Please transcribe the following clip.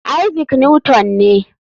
Isaac Newton ne.